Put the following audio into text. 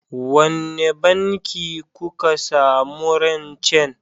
Wanne banki kuka samu rancen?